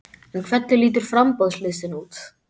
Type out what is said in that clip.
En hvernig lítur framboðslistinn út?